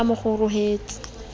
o se a mo kgorohela